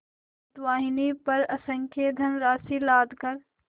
पोतवाहिनी पर असंख्य धनराशि लादकर